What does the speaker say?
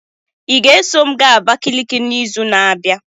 Ị ga-eso m gaa Abakiliki n'izu na-abịa?